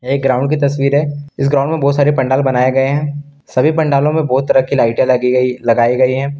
एक ग्राउंड की तस्वीर है इस ग्राउंड में बहुत सारे पंडाल बनाए गए हैं सभी पंडालो में बहुत तरह की लाइटें लगी गई लगाई गई है।